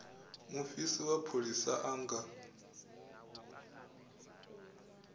mufisi wa pholisa a nga